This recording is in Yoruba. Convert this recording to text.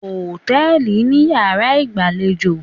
̣Hòtẹ́ẹ̀lì ni yàrá ìgbàlejò